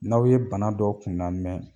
N'aw ye bana dɔ kunnan mɛn